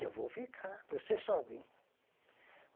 Eu vou ficar, você sobe.